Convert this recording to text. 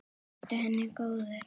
Vertu henni góður.